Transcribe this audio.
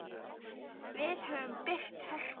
Við höfum byggt Hörpu.